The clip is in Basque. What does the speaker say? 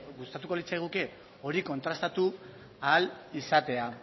gustatuko litzaiguke hori kontrastatu ahal izatea